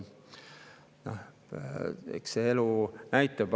Eks elu näitab.